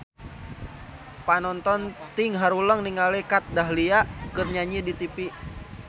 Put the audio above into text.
Panonton ting haruleng ningali Kat Dahlia keur nyanyi di tipi